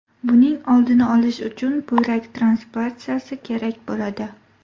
Buning oldini olish uchun buyrak transplantatsiyasi kerak bo‘ladi.